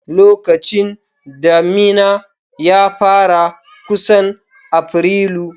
Lokacin damina ya fara kusan Afrilu.